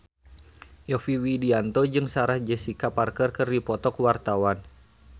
Yovie Widianto jeung Sarah Jessica Parker keur dipoto ku wartawan